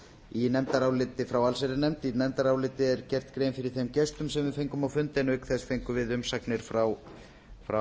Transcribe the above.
í nefndaráliti frá allsherjarnefnd í nefndarálitinu er gert grein fyrir þeim gestum sem við fengum á fundi en auk þess fengum við umsagnir frá